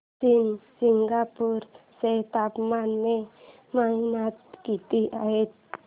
शनी शिंगणापूर चं तापमान मे महिन्यात किती असतं